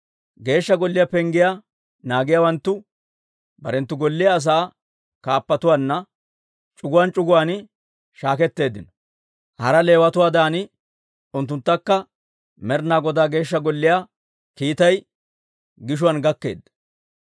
Geeshsha Golliyaa penggiyaa naagiyaawanttu barenttu golliyaa asaa kaappatuwaanna, c'uguwaan c'uguwaan shaaketteeddino. Hara Leewatuwaadan unttunttakka Med'inaa Godaa Geeshsha Golliyaa kiitay gishuwaan gakkeedda.